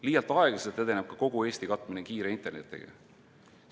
Liialt aeglaselt edeneb ka kogu Eesti katmine kiire internetiga.